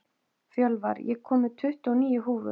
Fjölvar, ég kom með tuttugu og níu húfur!